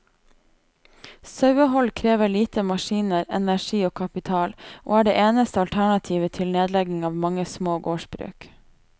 Sauehold krever lite maskiner, energi og kapital, og er det eneste alternativet til nedlegging av mange små gårdsbruk.